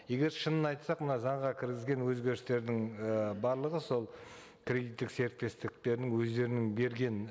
егер шынын айтсақ мына заңға кіргізген өзгерістердің і барлығы сол кредиттік серіктестіктердің өздерінің берген